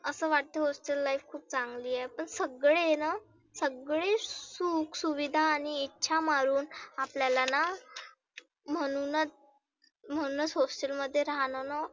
असं वाटतं hostel life खुप चांगली आहे. पण सगळे आहेना, सगळे सुख सुविधा आणि ह्या मारुण आणि इच्छा मरुण आपल्याला म्हणुनच म्हणुनच hostel मध्ये राहणंंना